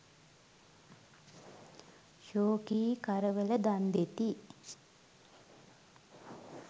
ශෝකී කරවල දන් දෙති.